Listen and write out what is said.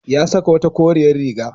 Ya saka wata koriyar riga.